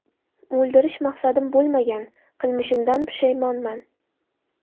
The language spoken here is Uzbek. O‘ldirish maqsadim bo‘lmagan, qilmishimdan pushaymonman.